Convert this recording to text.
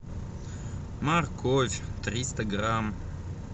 морковь триста грамм